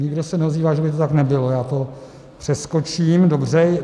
Nikdo se neozývá, že by to tak nebylo, já to přeskočím, dobře.